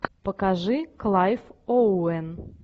покажи клайв оуэн